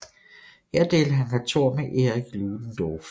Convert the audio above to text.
Her delte han kontor med Erich Ludendorff